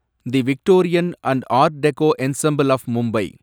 the Victorian and art deco ensemble of Mumbai